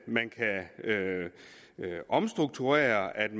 man kan omstrukturere og at